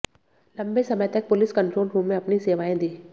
लंबे समय तक पुलिस कंट्रोल रूम में अपनी सेवाएं दीं